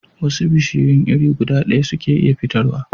Wasu bishiyun iri guda daya suke iya fitar wa